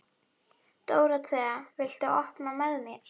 Dóróþea, viltu hoppa með mér?